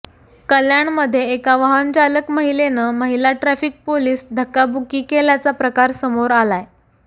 कल्याणमध्ये एका वाहनचालक महिलेनं महिला ट्रफिक पोलीस धक्काबुक्की केल्याचा प्रकार समोर आलाय